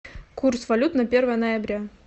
курс валют на первое ноября